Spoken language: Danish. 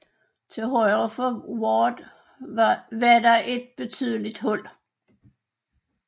Til højre for Ward var der et betydeligt hul